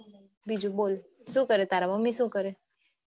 બીજું બોલ શું કરે તારા મમ્મી શું કરે